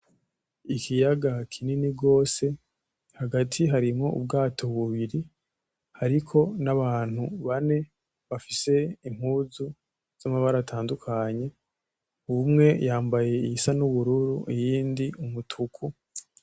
Ikiyaga kinini gwose hagati harimwo ubwato bubiri ariko n’abantu bane bafise impuzu z’amabara atandukanye; umwe yambaye iyisa n’ubururu iyindi umutuku .